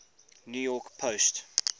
new york post